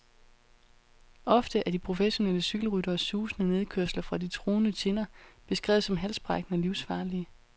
Ofte er de professionelle cykelrytteres susende nedkørsler fra de truende tinder beskrevet som halsbrækkende og livsfarlige.